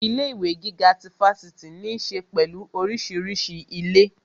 Ilé ìwé gíga ti Fáṣítì ní ṣe pẹ̀lú orísìírísìí ilé